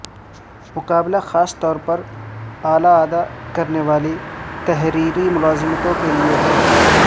مقابلہ خاص طور پر اعلی ادا کرنے والی تحریری ملازمتوں کے لئے ہے